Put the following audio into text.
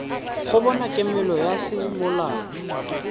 go bona kemelo ya semolao